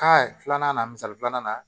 filanan na misali filanan na